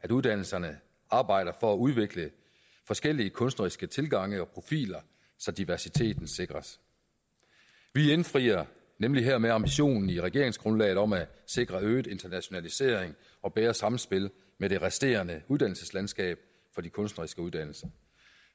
at uddannelserne arbejder for at udvikle forskellige kunstneriske tilgange og profiler så diversiteten sikres vi indfrier nemlig hermed ambitionen i regeringsgrundlaget om at sikre øget internationalisering og bedre samspil med det resterende uddannelseslandskab for de kunstneriske uddannelser